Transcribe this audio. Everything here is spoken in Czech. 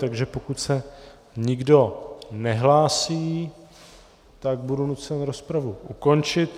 Takže pokud se nikdo nehlásí, tak budu nucen rozpravu ukončit.